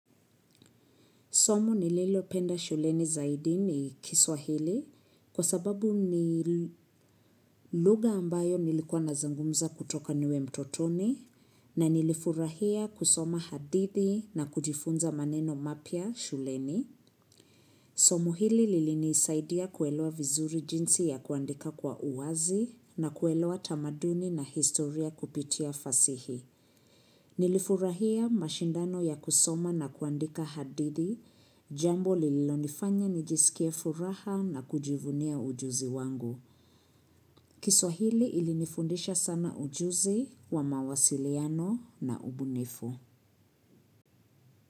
Somo nililopenda shuleni zaidi ni kiswahili kwa sababu ni lugha ambayo nilikuwa nazungumza kutoka niwe mtotoni na nilifurahia kusoma hadithi na kujifunza maneno mapya shuleni. Somo hili lilinisaidia kuelewa vizuri jinsi ya kuandika kwa uwazi na kuelewa tamaduni na historia kupitia fasihi. Nilifurahia mashindano ya kusoma na kuandika hadithi, jambo lililonifanya nijisikie furaha na kujivunia ujuzi wangu. Kiswahili ilinifundisha sana ujuzi wa mawasiliano na ubunifu.